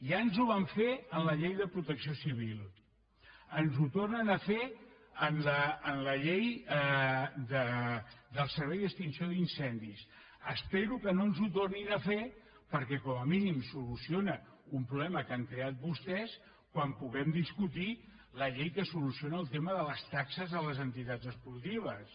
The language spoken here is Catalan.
ja ens ho van fer amb la llei de protecció civil ens ho tor·nen a fer amb la llei del servei d’extinció d’incendis espero que no ens ho tornin a fer perquè com a mí·nim soluciona un problema que han creat vostès quan puguem discutir la llei que soluciona el tema de les taxes a les entitats esportives